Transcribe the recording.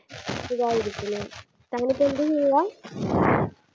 സുഖായിരിക്കുന്നു താനിപ്പോ എന്ത് ചെയ്യുവാ